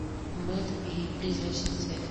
мэтр и призрачный свет